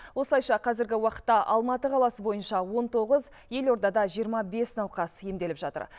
осылайша қазіргі уақытта алматы қаласы бойынша он тоғыз елордада жиырма бес науқас емделіп жатыр